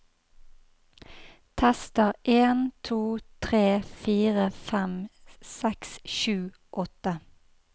Tester en to tre fire fem seks sju åtte